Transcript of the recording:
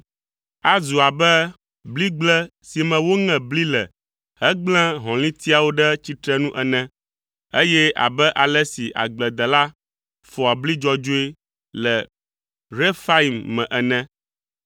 Azu abe bligble si me woŋe bli le hegblẽ hɔ̃litiawo ɖe tsitrenu ene, eye abe ale si agbledela fɔa bli dzɔdzɔe le Refaim me ene.